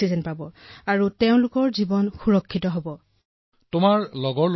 এই অক্সিজেনৰ বাবে জনসাধাৰণ প্ৰাণ ৰক্ষা পৰাৰ বিষয়টো এতিয়া ঘৰে ঘৰে গম পাইছে